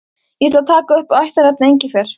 Ég ætla að taka upp ættarnafnið Engifer.